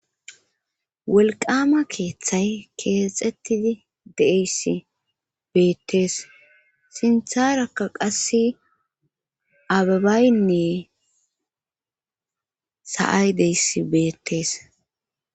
wolqama keeththay keexettidi deeyss beettees sintharakka qasse ababaynne sa7ay deyss beettees